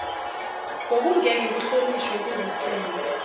bokungeke kuhlonishwe kuzicelo